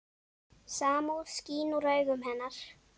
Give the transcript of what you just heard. Samúð skín úr augum hennar.